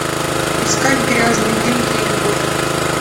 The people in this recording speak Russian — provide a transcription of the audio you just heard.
искать грязные деньги и любовь